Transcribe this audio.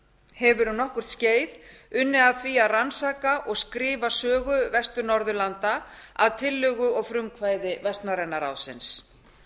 hefur um nokkurt skeið unnið að því að rannsaka og skrifa sögu vestur norðurlanda að tillögu og frumkvæði vestnorræna ráðsins